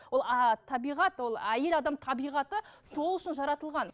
ол табиғат ол әйел адам табиғаты сол үшін жаратылған